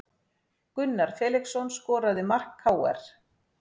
Gunnar Felixson skoraði mark KR